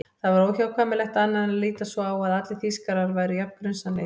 Það var óhjákvæmilegt annað en að líta svo á að allir Þýskarar væru jafn grunsamlegir.